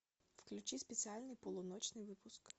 включи специальный полуночный выпуск